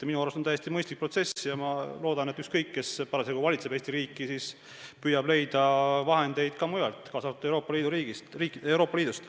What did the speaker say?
Minu arust on see täiesti mõistlik protsess ja ma loodan, et ükskõik, kes parasjagu Eesti riiki valitseb, püüab leida vahendeid ka mujalt, kaasa arvatud Euroopa Liidust.